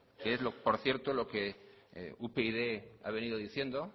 es por cierto lo que upyd ha venido diciendo